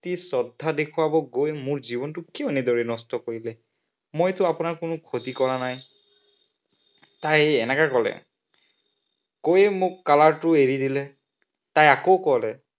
প্ৰতি শ্ৰদ্ধা দেখুৱাব গৈ মোৰ জীৱনটো কিয় এনেদৰে নষ্ট কৰিলে? মইতো আপোনাৰ কোনো ক্ষতি কৰা নাই তাই এনেকে কলে। কৈয়ে মোক কলাৰটো এৰি দিলে। তাই আকৌ কলে